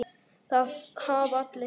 Það hafa allir